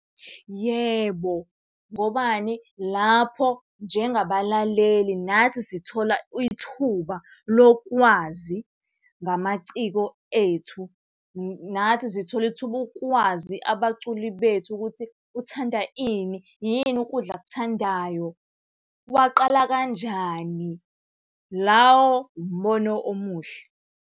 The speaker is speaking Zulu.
Yebo, ngobani, lapho njengabalaleli nathi sithola ithuba lokwazi ngamaciko ethu. Nathi sithola ithuba ukwazi abaculi bethu ukuthi, uthanda ini, yini ukudla akuthandayo? kwaqala kanjani? Lawo umbono omuhle.